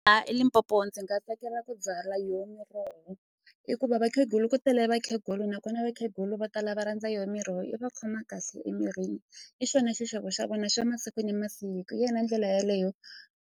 eLimpopo ndzi nga tsakela ku byala yo miroho hikuva vakhegula ku tale vakhegulu nakona vakhegula vo tala va rhandza yo miroho i va khoma kahle emirini i xona xixevo xa vona xa masiku ni masiku hi yona ndlela yeleyo.